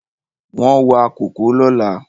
Wọ́n wa kòkó lọ́la